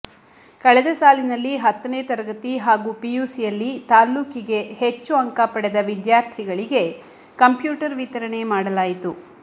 ಕಳೆದ ಸಾಲಿನಲ್ಲಿ ಹತ್ತನೇ ತರಗತಿ ಹಾಗೂ ಪಿಯುಸಿಯಲ್ಲಿ ತಾಲ್ಲೂಕಿಗೆ ಹೆಚ್ಚು ಅಂಕಪಡೆದ ವಿದ್ಯಾರ್ಥಿಗಳಿಗೆ ಕಂಪ್ಯೂಟರ್ ವಿತರಣೆ ಮಾಡಲಾಯಿತು